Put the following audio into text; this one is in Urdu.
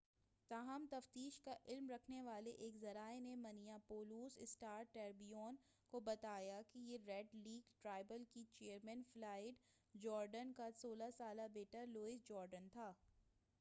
تاہم تفتیش کا علم رکھنے والے ایک ذرائع نے منیاپولس اسٹار ٹریبیون کو بتایا کہ یہ ریڈ لیک ٹرائبل کے چیئرمین فلائیڈ جورڈین کا 16 سالہ بیٹا لوئس جورڈین تھا